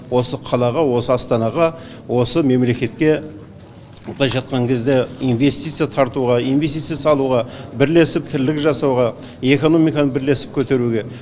осы қалаға осы астанаға осы мемлекетке былайша айтқан кезде инвестиция тартуға инвестиция салуға бірлесіп тірлік жасауға экономиканы бірлесіп көтеруге